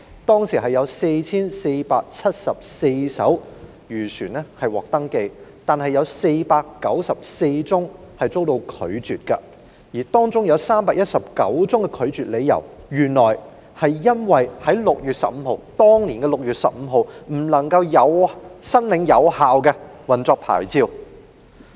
當時有 4,474 艘漁船獲登記，但有494宗申請被拒絕，而當中319宗的拒絕理由是有關船隻在2012年6月15日未領有有效的運作牌照。